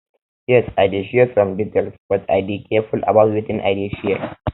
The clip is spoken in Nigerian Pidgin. yes i dey share some details but i dey dey careful about wetin i dey share